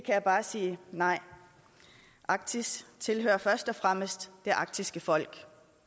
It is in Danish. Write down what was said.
jeg bare sige nej arktis tilhører først og fremmest det arktiske folk